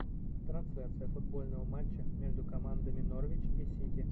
трансляция футбольного матча между командами норвич и сити